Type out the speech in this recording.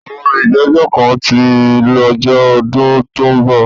Àwọn ìgbẹ́jọ́ kan tí lọ́jọ́ lọ́dún tó ń bọ̀.